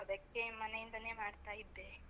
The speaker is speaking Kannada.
ಅದಕ್ಕೆ ಮನೆ ಇಂದಾನೆ ಮಾಡ್ತಾ ಇದ್ದೆ.